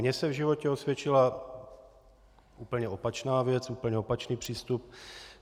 Mně se v životě osvědčila úplně opačná věc, úplně opačný přístup.